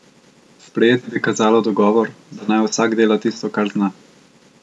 Sprejeti bi kazalo dogovor, da naj vsak dela tisto, kar zna.